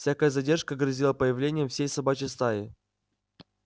всякая задержка грозила появлением всей собачьей стаи